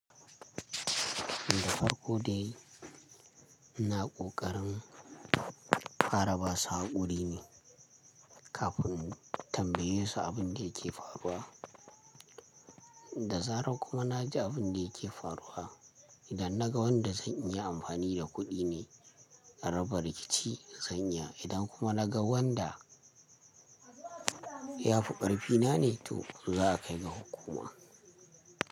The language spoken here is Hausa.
Da farko dai na ƙoƙarin fara basu hakuri ne kafin in tambaye su abin da yake faruwa, da zarar kuma na ji abin da yake faruwa, idan naga wanda zan iya amfani da kuɗi ne a raba rikici zan iya, idan kuma naga wanda ya fi ƙarfi na ne to za a kai ga hukuma.